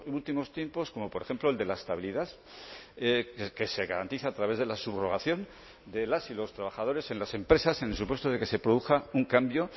últimos tiempos como por ejemplo el de la estabilidad que se garantiza a través de la subrogación de las y los trabajadores en las empresas en el supuesto de que se produzca un cambio